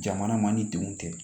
Jamana ma ni denw tɛ